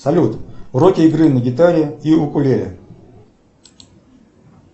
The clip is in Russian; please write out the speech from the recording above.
салют уроки игры на гитаре и укулеле